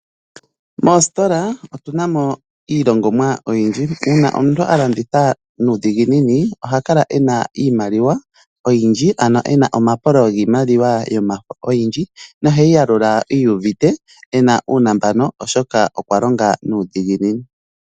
Mositola otunamo iilongomwa oyindji, una omuntu alanditha nudhinginini ohakala ena iimaliwa oyindji ano ena omapolo ngiimaliwa yomafo oyindji noheyiyalula iyuvite ena unambano oshoka okwalonga nudhinginini.